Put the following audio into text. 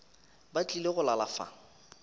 ba tlile go lala fa